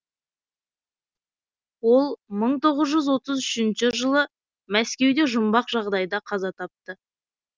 ол мың тоғыз жүз отыз үшінші жылы мәскеуде жұмбақ жағдайда қаза тапты